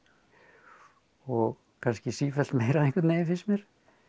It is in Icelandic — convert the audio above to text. og kannski sífellt meira einhvern veginn finnst mér